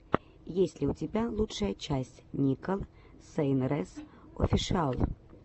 есть ли у тебя лучшая часть никол сейнрэс офишиал